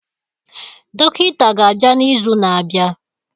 Dọkịta ga-abịa n'izu na-abịa